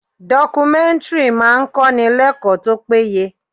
Documentary máa ń kọ́ni l'ekoo tó péye.